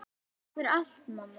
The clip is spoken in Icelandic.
Takk fyrir allt, mamma mín.